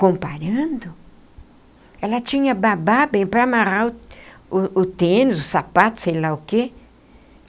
Comparando, ela tinha babá bem para amarrar o o tênis, o sapato, sei lá o quê.